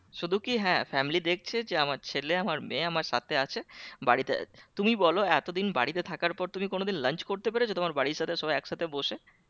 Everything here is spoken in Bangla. শুধু কি হ্যাঁ family দেখছে যে আমার ছেলে আমার মেয়ে আমার সাথে আছে বাড়িতে আছে তুমি বলো এত দিন বাড়িতে থাকার পর তুমি কোনো দিন lunch করতে পেরেছো? তোমার বাড়ির সাথে সবাই এক সাথে বসে